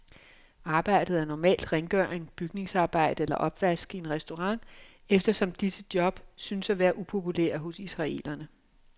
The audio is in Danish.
Arbejdet er normalt rengøring, bygningsarbejde eller opvask i en restaurant, eftersom disse job synes at være upopulære hos israelerne.